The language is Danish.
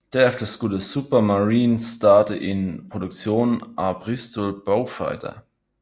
Derefter skulle Supermarine starte en produktion af Bristol Beaufighter